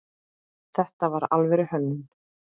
Þetta var alvöru hönnun.